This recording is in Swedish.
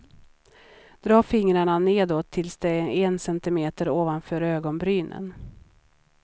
Dra fingrarna nedåt tills de är en centimeter ovanför ögonbrynen.